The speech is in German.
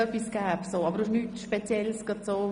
– Er wird sich nur noch bei Bedarf äussern.